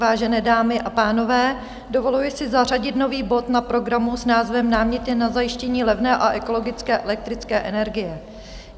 Vážené dámy a pánové, dovoluji si zařadit nový bod na program s názvem Náměty na zajištění levné a ekologické elektrické energie.